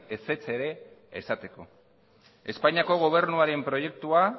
ezetza ere esateko espainiako gobernuaren proiektua